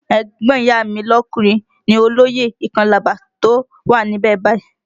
Ẹ̀gbọ́n ìyá a mi lọkùnrin ni olóyè ìkọ́làbà tó wà níbẹ̀ báyìí